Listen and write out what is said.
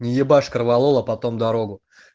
не ебашь корвалола потом дорогу